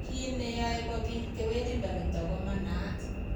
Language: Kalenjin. Kiit neyoe kobit kewelindo nitok komanaat